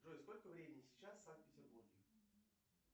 джой сколько времени сейчас в санкт петербурге